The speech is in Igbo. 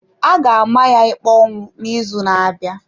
A ga-ama ya ikpe ọnwụ n’izu na-abịa.